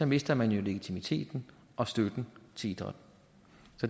mister man jo legitimiteten og støtten til idræt